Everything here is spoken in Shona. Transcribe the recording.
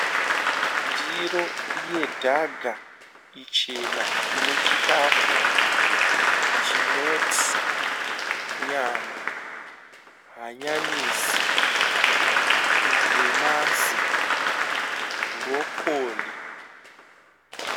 Ndiro yedhaga ichena, inechikafu chinoti nyama, hanyanisi, madomasi, bhorokoni.